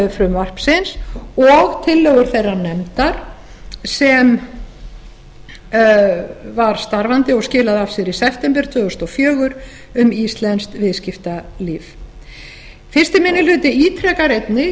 frumvarpsins og tillögur þeirrar nefndar sem var starfandi og skilaði af sér í september tvö þúsund og fjögur um íslenskt viðskiptalíf fyrsti minni hluti ítrekar einnig